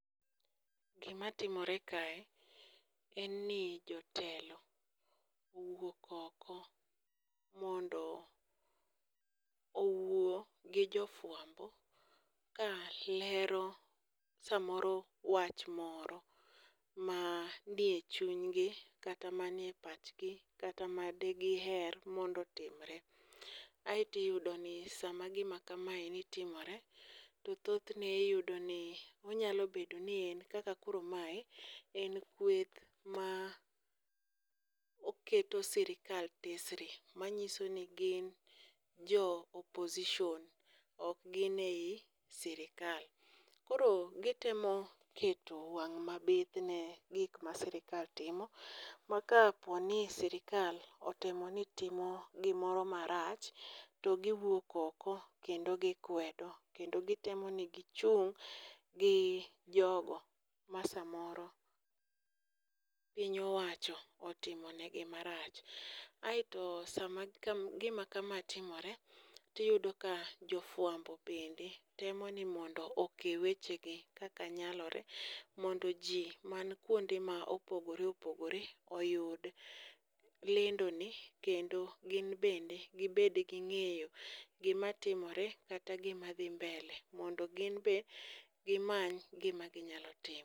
Gimatimore kae en ni jotelo owuok oko mondo owuo gi jofwambo ka lero samoro wach moro ma ni e chunygi kata manie pachgi kata madegiher mondo otimre aeto uyudo ka sama gima kamaeni timore, to thothne iyudo ni onyalo bedo ni en kaka koro mae en kweth ma oketo sirikal tesre manyiso ni gin jo opposition ok gin e sirikal, koro giteno keto wang' ,mabith ne gik ma sirikal timo ma kaponi sirikal otemo ni timo gimoro marach to giwuok oko kendo gikwedo, kendo gitemo ni gichung' gi jogo masamoro piny owacho otimo negi marach, aeto sama gima kama timore, tiyudo ka jofwambo bende temo ni mondo oke wechegi kaka nyalo re mondo ji man kwonde ma opogore opogore oyud lendoni kendo gin bende gibed gi ng'eyo gimatimore kata gimadhi mbele mondo gin be gimany gima ginyalo timo.